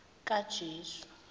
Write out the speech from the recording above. kajesu